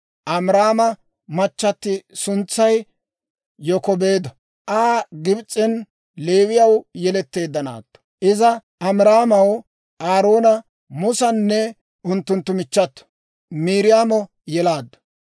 Amiraama machchati suntsay Yokebeedo; Aa Gibs'en Leewiyaw yeletteedda naatto. Iza Amiraamaw Aaroona, Musanne unttunttu michchato Miiriyaamo yelaaddu.